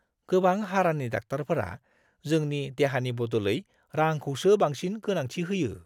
गोबां हारानि डाक्टारफोरा जोंनि देहानि बदलै रांखौसो बांसिन गोनांथि होयो!